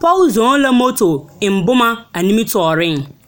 Pͻge zͻͻ la moto eŋ boma a nimitͻͻreŋ.